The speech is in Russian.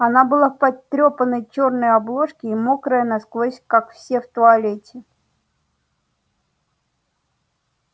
она была в потрёпанной чёрной обложке и мокрая насквозь как все в туалете